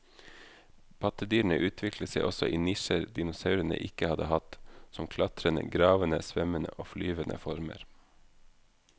Pattedyrene utviklet seg også i nisjer dinosaurene ikke hadde hatt, som klatrende, gravende, svømmende og flyvende former.